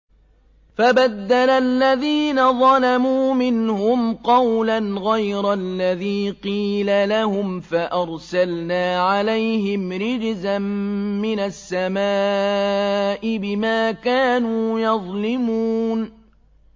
فَبَدَّلَ الَّذِينَ ظَلَمُوا مِنْهُمْ قَوْلًا غَيْرَ الَّذِي قِيلَ لَهُمْ فَأَرْسَلْنَا عَلَيْهِمْ رِجْزًا مِّنَ السَّمَاءِ بِمَا كَانُوا يَظْلِمُونَ